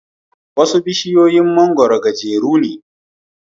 Wasu bishiyar mangwaro gajere ne.